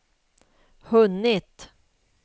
hunnit